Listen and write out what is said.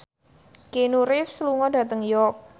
Keanu Reeves lunga dhateng York